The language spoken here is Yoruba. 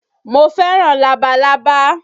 Mo fẹ́ràn labalábá